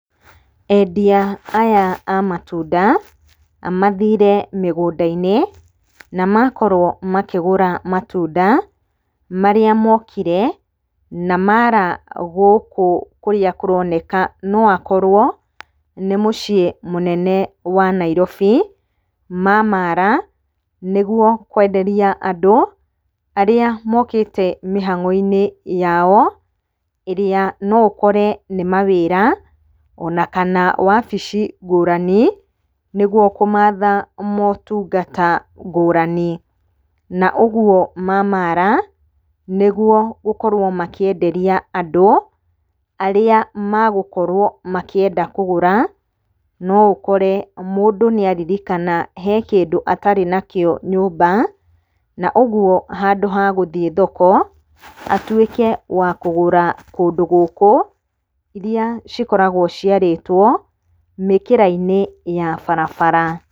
Endia aya a matunda mathire mĩgũnda-inĩ, na makorwo makĩgũra matunda. Marĩa mokire na maara gũkũ kũrĩa kũroneka no akorwo nĩ mũciĩ mũnene wa Nairobi. Ma-maara nĩguo kwenderia andũ arĩa mokite mĩhang'o-inĩ yao. Ĩrĩa noũkore nĩ mawĩra ona kana wabici ngũrani nĩguo kũmatha motungata ngũrani. Na ũguo ma-maara nĩguo gũkorwo makĩenderia andũ, arĩa magũkorwo makĩenda kũgũra. No ũkore mũndũ nĩaririkana he kĩndũ atarĩ nakĩo nyũmba, na ũguo handũ ha gũthiĩ thoko, atuĩke wa kũgũra kũndũ gũkũ, iria cikoragwo ciarĩtwo mĩkĩra-inĩ ya barabara.